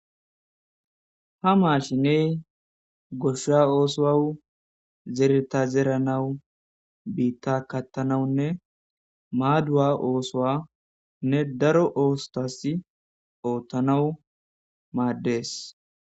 Ha maashiney goshsa oosowawu zereta zeranawu biitta kattanawunne maaduwa oosoanne daro oosotas oottanawu madders